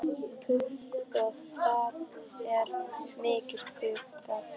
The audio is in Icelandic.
Púkk og það er mikið spaugað.